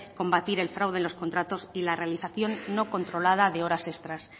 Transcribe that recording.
combatir el fraude en los contratos y la realización no controlada de horas extras